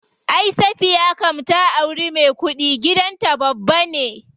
Ay Safiya kam ta auri me kuɗi, gidan ta babba ne.